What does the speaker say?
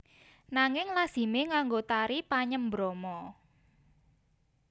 Nanging lazimé nganggo Tari Panyembrama